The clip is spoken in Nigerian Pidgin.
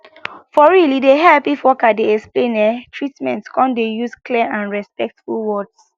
for real e dey help if worker dey explain ehh treatment come dey use clear and respectful words